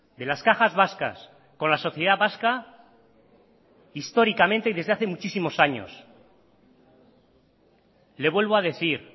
de las cajas vascas con la sociedad vasca históricamente y desde hace muchísimos años le vuelvo a decir